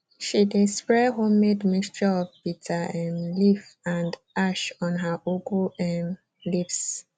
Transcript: she dey spray homemade mixture of bitter um leaf and ash on her ugu um leaves